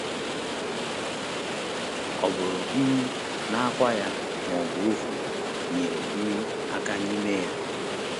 Ọ bụrụ um na akwa ya, ma ọ bụ ovum, nyere um aka n’ime ya?